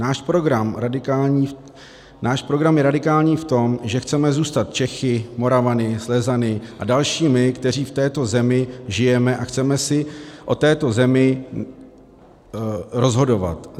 Náš program je radikální v tom, že chceme zůstat Čechy, Moravany, Slezany a dalšími, kteří v této zemi žijeme, a chceme si o této zemi rozhodovat.